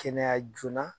Kɛnɛya joona